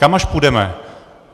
Kam až půjdeme?